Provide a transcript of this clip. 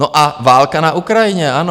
No a válka na Ukrajině, ano.